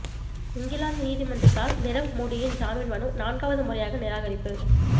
இங்கிலாந்து நீதிமன்றத்தால் நிரவ் மோடியின் ஜாமீன் மனு நான்காவது முறையாக நிராகரிப்பு